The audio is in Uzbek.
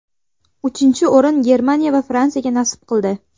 Uchinchi o‘rin Germaniya va Fransiyaga nasib qildi.